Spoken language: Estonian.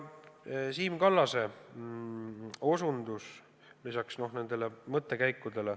Kommenteerin ka Siim Kallase mõttekäike.